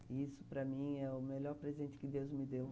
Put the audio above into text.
E isso, para mim, é o melhor presente que Deus me deu.